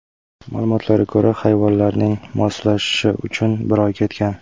Ma’lumotlarga ko‘ra, hayvonlarning moslashishi uchun bir oy ketgan.